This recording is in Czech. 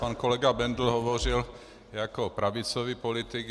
Pan kolega Bendl hovořil jako pravicový politik.